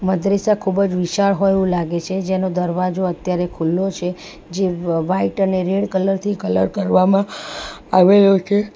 મદ્રેસા ખૂબજ વિશાળ હોય એવું લાગે છે જેનો દરવાજો અત્યારે ખુલ્લો છે જે વ્હાઇટ અને રેડ કલર થી કલર કરવામાં આવેલો છે.